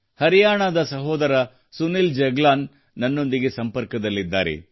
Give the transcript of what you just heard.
ಹರಿಯಾಣದ ಸಹೋದರ ಸುನಿಲ್ ಜಗ್ಲಾನ್ ನನ್ನೊಂದಿಗೆ ಸಂಪರ್ಕದಲ್ಲಿದ್ದಾರೆ